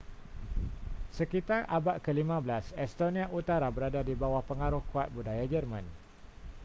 sekitar abad ke-15 estonia utara berada di bawah pengaruh kuat budaya german